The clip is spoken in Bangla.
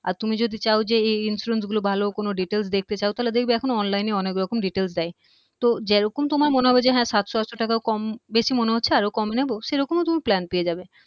আর তুমি যদি চাও যে এই এই insurance গুলো ভালো কোনো details দেখতে চাও তাহলে দেখবে এখন online এ অনেক রকম details দেয় তো যেই রকম তোমার মনে হবে হ্যা সাতশ আটশ টাকাও কম বেশি মনে হচ্ছে আরও কম নেবো সেরকমও তুমি plan পেয়ে যাবে